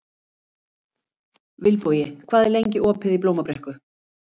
Vilbogi, hvað er lengi opið í Blómabrekku?